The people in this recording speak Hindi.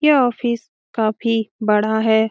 यह ऑफिस काफी बड़ा है।